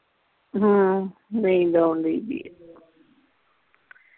ਹਮ ਨੀਂਦ ਆਉਣ ਦੀ ਬੀ ਆ